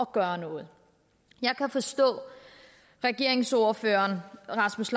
gøre noget jeg kan forstå at regeringsordføreren rasmus